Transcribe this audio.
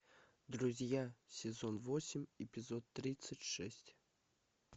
друзья сезон восемь эпизод тридцать шесть